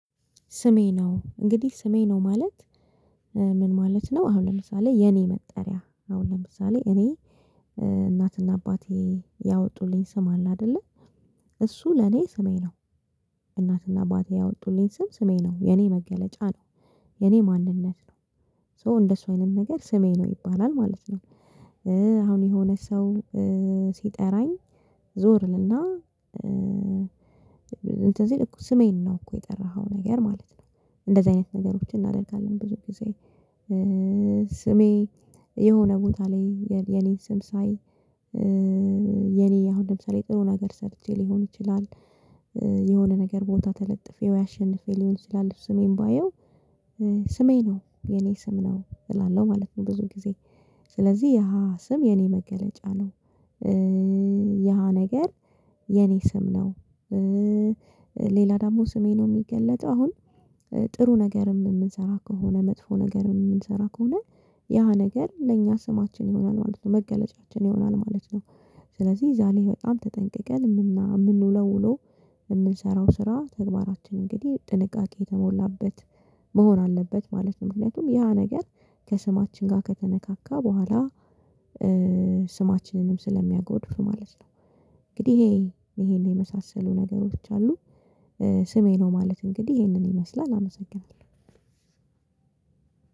ስሜ ነው እንግዲህ ስሜ ነው ማለት ምን ማለት ነው? አሁን ለምሳሌ የኔ መጠሪያ አሁን ለምሳሌ እኔ እናትና አባቴ ያወጡልኝ ስም አለ አይደለ እሱ ለኔ ስሜ ነው። እናትና አባቴ ያወጡልኝ ስም ስሜ ነው የኔ መገለጫ ነው የኔ ማንነት ነው። ሶ እንደሱ አይነት ነገር ስሜ ነው ይባላል ማለት ነው። አሁን የሆነ ሰው ሲጠራኝ ዞር እልና እንትን ስሜን ነው እኮ የጠራኸው ነገር ማለት ነው። እንደዚህ አይነት ነገሮችን እናደርጋለን ብዙ ጊዜ። ስሜ የሆነ ቦታ ላይ የኔ ስም ሳይ የኔ አሁን ለምሳሌ ጥሩ ነገር ሰርቼ ሊሆን ይችላል። የሆነ ነገር ቦታ ተለጥፌው ያሸንፈው ሊሆን ይችላል ስሜን ባየው። ስሜ ነው የኔ ስም ነው እላለው ማለት ነው። ብዙ ጊዜ ስለዚህ ያ ስም የኔ መገለጫ ነው። ያ ነገር የኔ ስም ነው። ሌላ ደግሞ ስሜ ነው የሚገለጠው አሁን። ጥሩ ነገር ምንሰራ ከሆነ መጥፎ ነገር ምንሰራ ከሆነ ያ ነገር ለእኛ ስማችን ይሆናል ማለት ነው መገለጫችን ይሆናል ማለት ነው። ስለዚህ ዛሬ በጣም ተጠንቅቀን ምን ምንውለው ውሎ የምንሰራው ስራ ተግባራችን እንግዲህ ጥንቃቄ የተሞላበት መሆን አለበት ማለት ነው። ምክንያቱም ያ ነገር ከስማችን ጋር ከተነካካ በኋላ ስማችንንም ስለሚያጎድፍ ማለት ነው። እንግዲህ ይሄ ይሄን የመሳሰሉ ነገሮች አሉ። ስሜ ነው ማለት እንግዲህ ይሄንን ይመስላል አመሰግናለሁ።